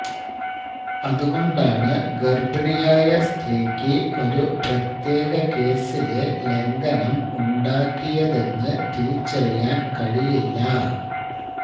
അതുകൊണ്ടാണ് ഗർഭിണിയായ സ്ത്രീക്ക് ഒരു പ്രത്യേക കേസിലെ ലംഘനം ഉണ്ടാക്കിയതെന്ന് തിരിച്ചറിയാൻ കഴിയില്ല